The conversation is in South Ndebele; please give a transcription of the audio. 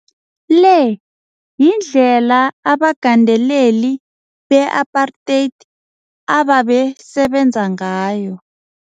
Le yindlela abagandeleli beapartheid ababesebenza ngayo.